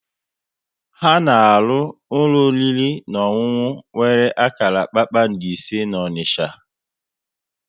Ha na arụ ụlọ oriri na ọṅụnụ nwere akara kpakpando ise n'Onisha